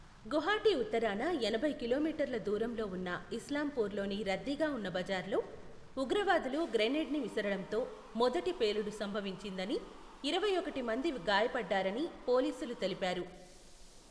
గుహాటీ ఉత్తరాన ఎనభై కిలోమీటర్ల దూరంలో ఉన్న ఇస్లాంపూర్లోని రద్దీగా ఉన్న బజార్లో, ఉగ్రవాదులు గ్రెనేడ్ని విసరడంతో మొదటి పేలుడు సంభవించిందని, ఇరవై ఒకటి మంది గాయపడ్డారని పోలీసులు తెలిపారు.